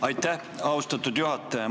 Aitäh, austatud juhataja!